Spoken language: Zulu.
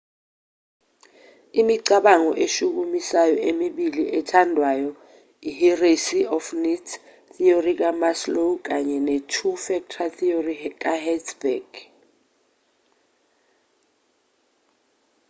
imicabango eshukumisayo emibili ethandwayo yihierarchy of needs theory kamaslow kanye netwo factor theory kahertzberg